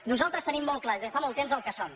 nosaltres tenim molt clar i des de fa molt temps el que som